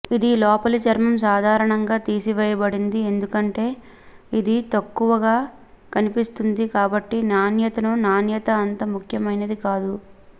ఇది లోపలి చర్మం సాధారణంగా తీసివేయబడింది ఎందుకంటే ఇది తక్కువగా కనిపిస్తుంది కాబట్టి నాణ్యతను నాణ్యత అంత ముఖ్యమైనది కాదు